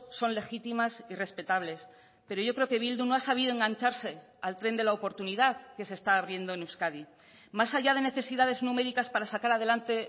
son legítimas y respetables pero yo creo que bildu no ha sabido engancharse al tren de la oportunidad que se está abriendo en euskadi más allá de necesidades numéricas para sacar adelante